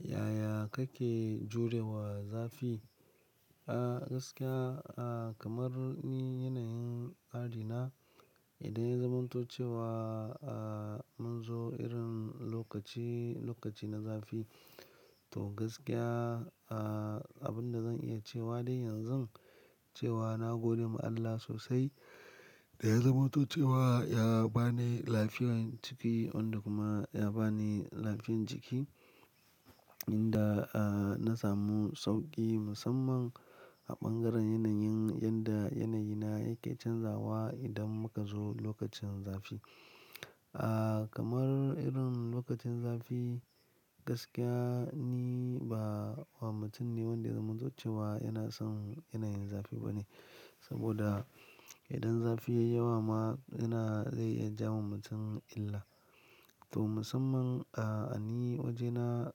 Yaya kake jurewa zafi? A gaskiya, kamar ni yanayin tsari na idan ya zamanto ahh cewa mun zo irin lokaci, lokaci na zafi. To gaskiya, abin da zan iya cewa dai yanzu cewa na gode ma Allah sosai da ya zamanto cewa ya ba ni lafiyar jiki wanda kuma ya ba ni lafiyar jiki inda na samu sauƙi musamman a ɓangaren yanayin yadda yanayi na yake canzawa idan muka zo lokacin zafi. A kamar irin lokacin zafi gaskiya ni ba mutum ne wanda ya zamanto cewa yana son yanayin zafi bane saboda idan zafi ya yi yawa ma yana zai iya ja wa mutum illa. To musamman a ni wajena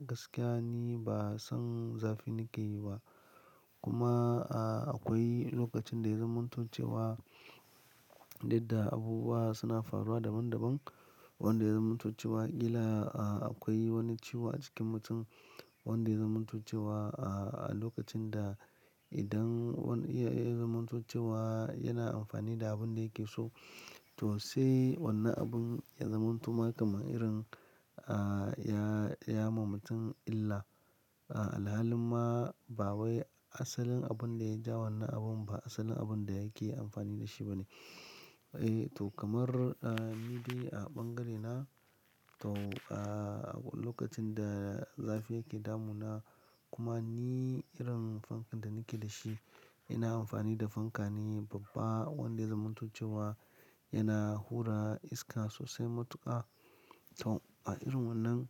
gaskiya ni ba zan zafi na ke yi ba. Kuma akwai lokacin da ya zamanto cewa duk da abubuwa suna faruwa daban daban wanda ya zamanto cewa ƙila akwai wani ciwo a cikin mutum wanda ya zamanto cewa a lokacin da idan wani ya zamanto cewa yana amfani da abin da yake so to sai wannan abun ya zamanto makamun irin ya ma mutum illa. Halin ma ba wai asalin abun da ya ja wannan abun ba asalin abun da yake amfani da shi bane. Eh to kamar ni dai a ɓangarena to lokacin da zafi yake damuna kuma ni irin fankan da nake da shi yana amfani da fanka ne babba wanda ya zamanto cewa yana hura iska sosai matuƙa. To a irin wannan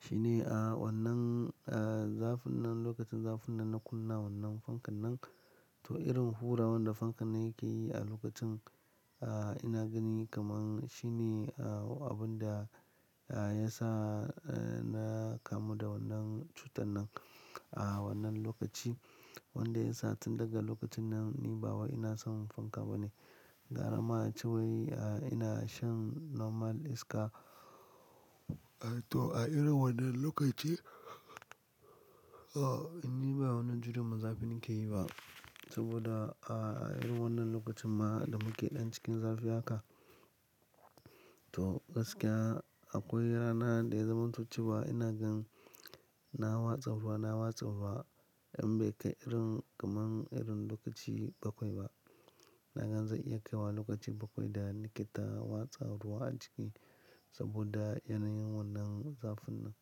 shine a wannan zafin nan lokacin zafin nan na kunna wannan fankan nan. To irin hurar wanda fankan yake yi a lokacin ina gani kamar shine abun da ya sa na kamu da wannan cutar nan a wannan lokaci wanda ya sa tun daga lokacin nan ni bawa ina son fanka bane. Gara ma ace wai ina shan normal iska. To a irin wannan lokaci ni ba wannan jurar zafi na ke yi ba saboda a irin wannan lokacin ma da muke ɗan cikin zafi haka to gaskiya akwai rana da ya zamanto cewa ina gan na watsa ruwa, na watsa ruwa in bai kai irin kamar irin lokaci bakwai ba. Na ga zai iya kai wa lokaci bakwai da nake ta watsa ruwa a jiki saboda yanayin wannan zafin nan.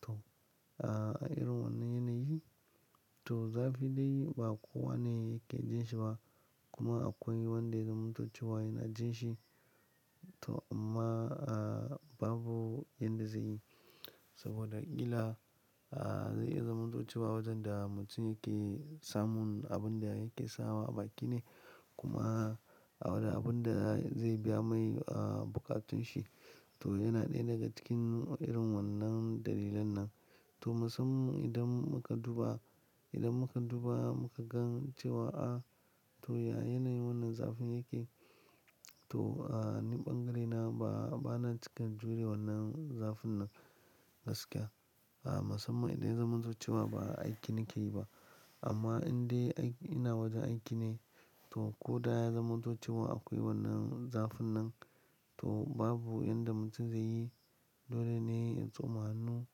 To a irin wannan yanayi to zafi dai ba kowa ne yake jin shi ba kuma akwai wanda ya zamanto cewa yana jin shi. To amma babu yanda zai yi saboda ƙila ahh zai iya zamanto cewa waɗanda mutum yake samun abun da yake sawa baki ne kuma abun da zai biya mai buƙatun shi to yana ɗaya daga cikin irin wannan dalilan nan. To musamman idan muka duba, idan muka duba muka gan cewa a to a yanayin wannan zafin yake to ni ɓangarena ba, bana cika jure wannan zafin nan gaskiya. Musamman idan ya zamanto cewa ba aiki na ke yi ba amma in dai ina wajen aiki ne to ko da ya zamanto cewa akwai wannan zafin nan to babu yanda mutum zai yi. Dole ne a tsoma hannu,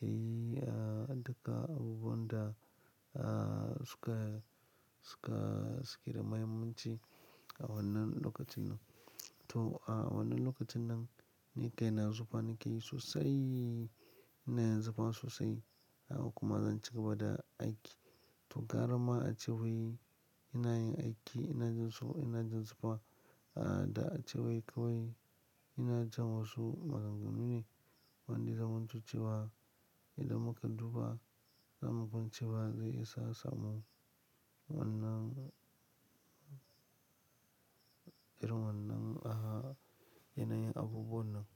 ya yi ahh daƙa abubuwan da suka, suka, suke da muhimmanci a wannan lokaci nan. To a wannan lokacin nan ni kai na zufa na ke yi sosai, ina zufa sosai kuma zan cigaba da aiki. To gara ma ace wai ina yin aiki, ina jin so, ina jin zuba da ace wai kawai ina jan wasu maganganu ne wanda ya zamanto cewa idan muka duba za mu gan cewa zai isa samun wannan, irin wannan a yanayin abubuwan nan.